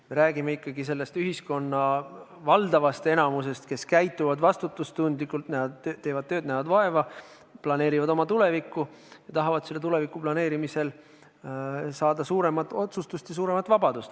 Me räägime ikkagi sellest ühiskonna enamikust, nendest, kes käituvad vastutustundlikult, teevad tööd, näevad vaeva, planeerivad oma tulevikku ja tahavad selle tuleviku planeerimisel saada suuremat otsustusõigust ja suuremat vabadust.